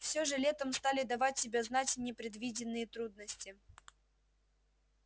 всё же летом стали давать себя знать непредвиденные трудности